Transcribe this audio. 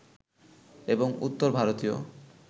এবং উত্তর ভারতীয়